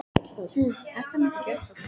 Hvernig má fjölga áhorfendum?